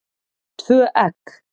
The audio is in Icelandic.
Tvö egg.